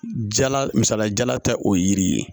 Jala misaliya jala tɛ o ye yiri ye